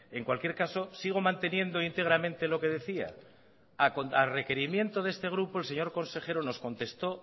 en cualquier caso sigo manteniendo íntegramente lo que decía a requerimiento de este grupo el señor consejero nos contestó